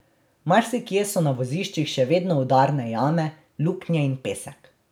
Marsikje so na voziščih še vedno udarne jame, luknje in pesek.